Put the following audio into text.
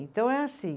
Então é assim.